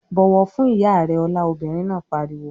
"Bọ̀wọ̀ fún ìyá rẹ Ọlá!" Obìnrin náà pariwo.